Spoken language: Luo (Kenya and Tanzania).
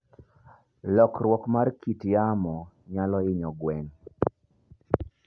Lokruok mar kit yamo nyalo hinyo gwen.